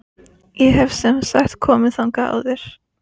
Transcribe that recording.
Ég hafði semsagt komið þangað áður.